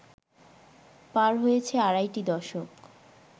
পার হয়েছে আড়াইটি দশক